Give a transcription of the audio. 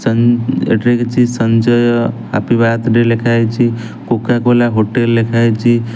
ସଞ୍ଜ ଏଠାରେ କିଛି ସଞ୍ଜୟ ହାପି ବାର୍ଥ ଡେ ଲେଖାହେଇଛି କୋକାକୋଲା ହୋଟେଲ୍ ଲେଖାହେଇଚି ।